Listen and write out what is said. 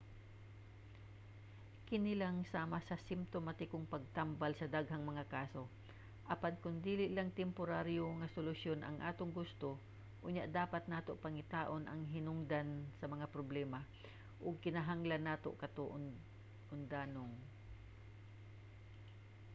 kini lang sama sa simtomatikong pagtambal sa daghang mga kaso. apan kon dili lang temporaryo nga solusyon ang atong gusto unya dapat nato pangitaon ang hinungdan sa mga problema ug kinahanglan nato kato undanong